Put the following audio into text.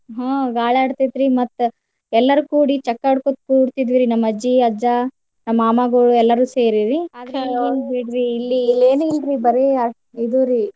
ಹ್ಮ್ ಗಾಳಿ ಆಡ್ತೈತ್ರಿ ಮತ್ತ ಎಲ್ಲರು ಕೂಡಿ ಚಕ್ಕ್ ಆಡ್ಕೊತ ಕೂಡ್ತಿದ್ದುರಿ ನಮ್ಮ ಅಜ್ಜಿ, ಅಜ್ಜಾ ನಮ್ಮ್ ಮಾಮಾಗೋಳು ಎಲ್ಲಾರು ಸೇರಿರಿ ಇಲ್ಲಿ ಇಲ್ಲೇನು ಇಲ್ರಿ ಬರೆ ಇದುರಿ.